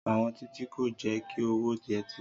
Àwọn Títí kò jẹ́ kí ó wọ yẹtí